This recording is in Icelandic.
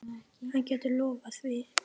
Hann getur lofað því.